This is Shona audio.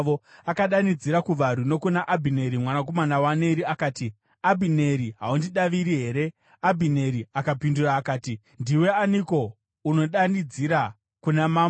Akadanidzira kuvarwi nokuna Abhineri mwanakomana waNeri akati, “Abhineri haundidaviri here?” Abhineri akapindura akati, “Ndiwe aniko unodanidzira kuna mambo?”